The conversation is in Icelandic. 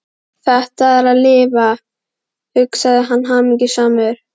Þetta er að lifa, hugsaði hann hamingjusamur.